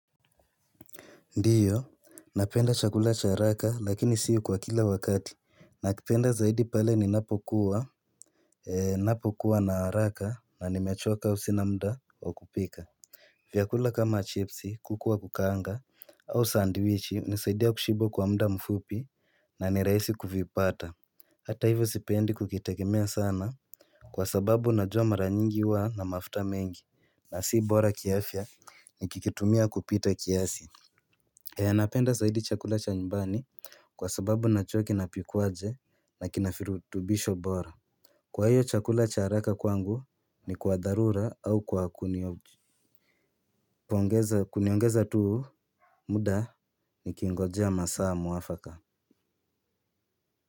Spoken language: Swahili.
Ndiyo, napenda chakula cha araka lakini si kwa kila wakati. Nakipenda zaidi pale ninapokuwa na araka na nimechoka au sina mda wa kupika. Vyakula kama chipsi, kuku wa kukaanga au sandiwichi inasaidia kushiba kwa muda mfupi na ni rahisi kuvipata. Hata hivyo sipendi kukitegemea sana, kwa sababu najua mara nyingi huwa na mafuta mengi, na si bora kiafya nikikitumia kupita kiasi. Eeh napenda zaidi chakula cha nyumbani kwa sababu najua kinapikwaje na kina virutubisho bora. Kwa hiyo chakula cha haraka kwangu ni kwa dharura au kwa kuniongeza tu. Muda nikingojea masaa mwafaka.